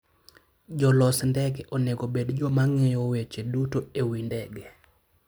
Jolos ndege onego obed joma ng'eyo weche duto e wi ndege.